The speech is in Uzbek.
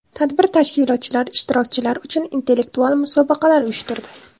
Tadbir tashkilotchilar ishtirokchilar uchun intellektual musobaqalar uyushtirdi.